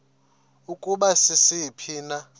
ukuba sisiphi na